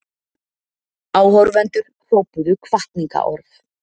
Áhorfendur hrópuðu hvatningarorð.